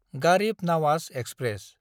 Garib Nawaz express